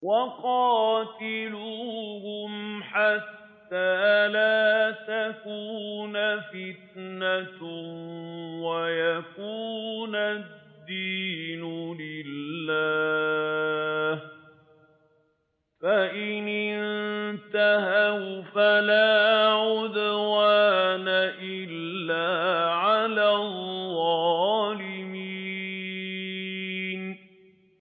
وَقَاتِلُوهُمْ حَتَّىٰ لَا تَكُونَ فِتْنَةٌ وَيَكُونَ الدِّينُ لِلَّهِ ۖ فَإِنِ انتَهَوْا فَلَا عُدْوَانَ إِلَّا عَلَى الظَّالِمِينَ